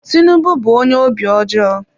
Tinubu bụ onye obi ọjọọ.